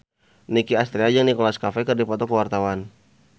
Nicky Astria jeung Nicholas Cafe keur dipoto ku wartawan